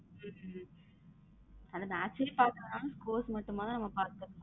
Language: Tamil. உம் அந்த match சே பாக்கலைனாலும் scores மட்டும் பாத்துக்கலாம்.